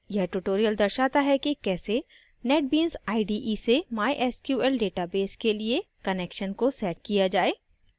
यह tutorial दर्शाता है कि कैसे netbeans ide से mysql database के लिए connection को setup किया जाय